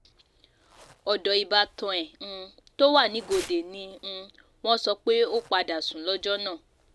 ọ̀dọ̀ ìbátan ẹ̀ um tó wà nìgòńdè ni um wọ́n sọ pé ó padà sùn lọ́jọ́ náà